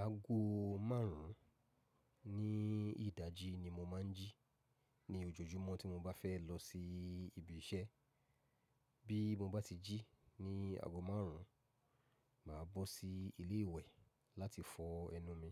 Aago márùn ún ní ìdájí ni mo máa ń jí ní ojojúmọ́ tí mo bá fẹ́ lọ sí ibi iṣẹ́. Bí mo bá ti jí ní aago márùn ún, màá bọ́ sí ilé ìwẹ̀ láti fọ ẹnu mi.